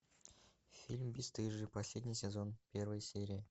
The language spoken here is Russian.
фильм бесстыжие последний сезон первая серия